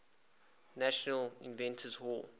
national inventors hall